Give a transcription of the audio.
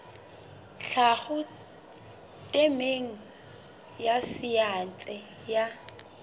tlhaho temeng ya saense ya